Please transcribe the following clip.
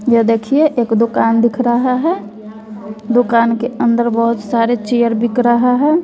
यह देखिए एक दुकान दिख रहा है दुकान के अंदर बहुत सारे चेयर बिक रहा है।